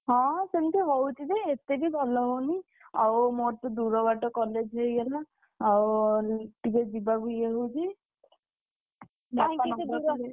ହଁ ସେମତି ହଉଛି ଯେ ଏତେ ବି ଭଲ ହଉନି। ଆଉ ମୋର ତ ଦୂରବାଟ college ହେଇଗଲା। ଆଉ ଟିକେ ଯିବାକୁ ଇଏ ହଉଛି। ।